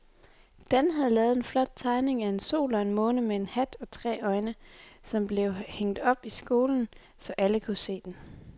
Dan havde lavet en flot tegning af en sol og en måne med hat og tre øjne, som blev hængt op i skolen, så alle kunne se den.